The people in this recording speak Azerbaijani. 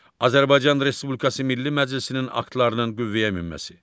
Azərbaycan Respublikası Milli Məclisinin aktlarının qüvvəyə minməsi.